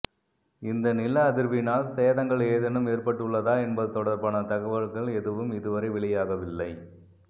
இந்த நில அதிர்வினால் சேதங்கள் ஏதேனும் ஏற்பட்டுள்ளதா என்பது தொடர்பான தகவல்கள் எதுவும் இதுவரை வெளியாகவில்லை